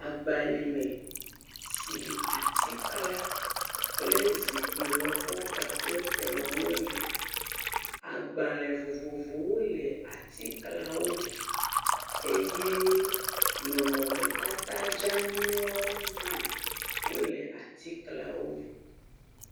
Agba yi me si atiklã kple zikpui lɔbɔ kpakple kplɔ̃ wole. Agbalẽ vovovowo le atiklãwo me, eye nɔnɔmetata dzeanyiwo hã wole atiklãwo me.